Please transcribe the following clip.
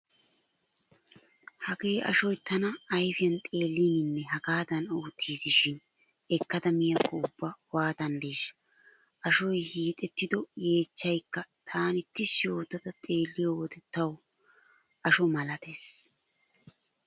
Hagee ashoy tana ayfiyan xeelliininne hagaadan ottiisi shin ekkada miyaakko ubba waatanddeeshsha. Ashoy hiixettido yeechchaykka taani tishshi ootta xeelliyo wode tawu asho malatees.